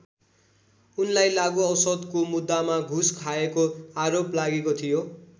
उनलाई लागु औषधको मुद्दामा घुस खाएको आरोप लागेको थियो।